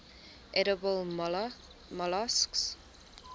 edible molluscs